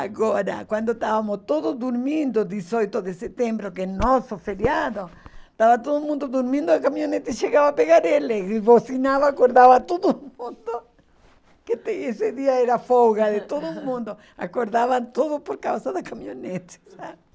Agora, quando estávamos todos dormindo, dezoito de setembro, que é nosso feriado, estava todo mundo dormindo, a caminhonete chegava a pegar ele, e buzinava, acordava todo mundo, que tem esse dia era folga de todo mundo, acordavam todos por causa da caminhonete, sabe?